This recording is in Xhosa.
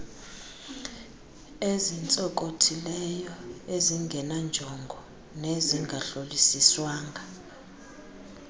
ezintsonkothileyo ezingenanjongo nezingahlolisiswanga